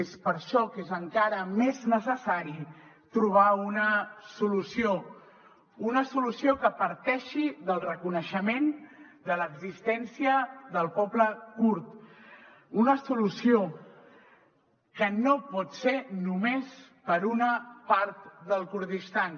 és per això que és encara més necessari trobar una solució una solució que parteixi del reconeixement de l’existència del poble kurd una solució que no pot ser només per a una part del kurdistan